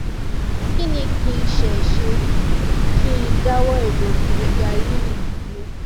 kí ni kí n ṣe ṣé kí n dáwọ ìlo pirigalíìnì dúró